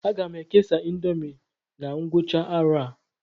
Aga m ekesa índomi na ngwụcha arọ a